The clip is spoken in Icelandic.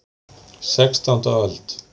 Sextánda öld.